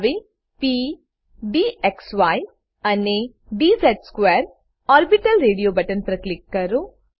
હવે p d z અને d z square orbital radio button પર કલક કરો